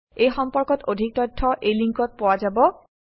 এই সম্পৰ্কত অধিক তথ্য এই লিংকত পোৱা যাব